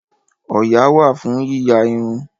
Òyà wà fún yíya irun